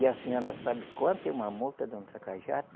E a senhora sabe quanto é uma multa de um tracajá?